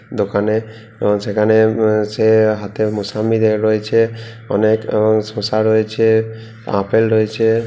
দোকানে এবং সেখানে রয়েছে হাতে মোসাম্বি ধরে রয়েছে অনেক এবং শশা রয়েছে আপেল রয়েছে।